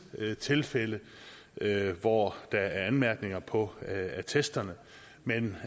tilfælde hvor der er anmærkninger på attesterne men